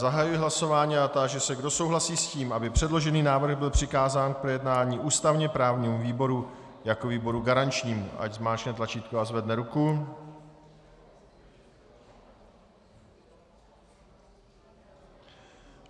Zahajuji hlasování a táži se, kdo souhlasí s tím, aby předložený návrh byl přikázán k projednání ústavně právnímu výboru jako výboru garančnímu, ať zmáčkne tlačítko a zvedne ruku.